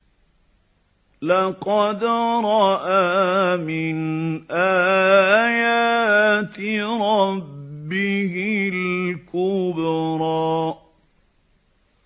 لَقَدْ رَأَىٰ مِنْ آيَاتِ رَبِّهِ الْكُبْرَىٰ